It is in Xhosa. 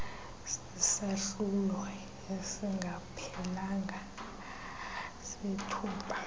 sesahlulo esingaphelanga sethuba